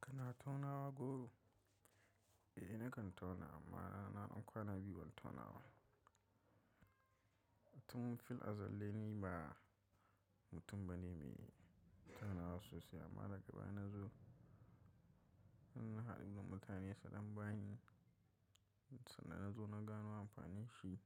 Kana taunawa goro? Eh nakan tauna amma na ɗan kwana biyu ban taunawa. Tun fil azal dai ni ba mutum bane mai taunawa sosai amma daga baya na zo, in na haɗu da mutane sadan bani sannan na zo na gano amfanin shi.